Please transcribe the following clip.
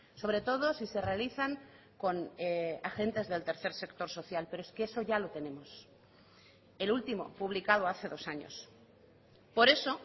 sobre todo si se realizan con agentes del tercer sector social pero es que eso ya lo tenemos el último publicado hace dos años por eso